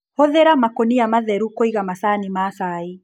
Hũthira makũnia matheru kũiga macani ma cai.